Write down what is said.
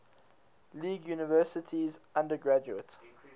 league universities undergraduate